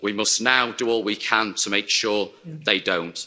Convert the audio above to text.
We must now do all we can to make sure they don't.